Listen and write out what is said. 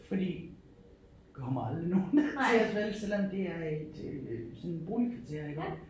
Fordi kommer aldrig nogen ned til os vel selvom det er et sådan øh boligkvarter iggå